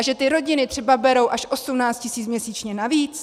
A že ty rodiny třeba berou až 18 tisíc měsíčně navíc?